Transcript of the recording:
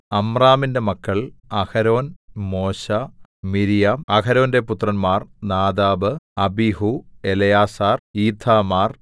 അമ്രാമിന്റെ മക്കൾ അഹരോൻ മോശെ മിര്യാം അഹരോന്റെ പുത്രന്മാർ നാദാബ് അബീഹൂ എലെയാസാർ ഈഥാമാർ